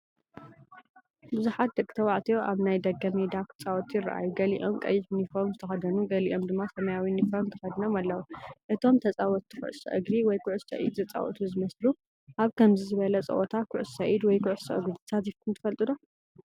ቡዝሓት ደቂ ተባዕትዮ ኣብ ናይ ደገ ሜዳ ክጻወቱ ይረኣዩ። ገሊኦም ቀይሕ ዩኒፎርም ዝተከደኑ፡ገሊኦም ድማ ሰማያዊ ዩኒፎርም ተኸዲኖም ኣለዉ። እቶም ተጻወትቲ ኩዕሶ እግሪ ወይ ኩዕሶ ኢድ ዝጻወቱ ይመስሉ። ኣብ ከምዚ ዝበለ ጸወታ ኩዕሶ ኢድ ወይ ኩዕሶ እግሪ ተሳቲፍኩም ትፈልጡዶ?